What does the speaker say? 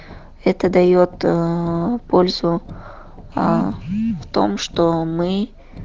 это даёт ээ пользу а в том что мы